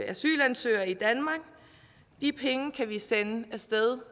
asylansøgere i danmark de penge kan vi sende af sted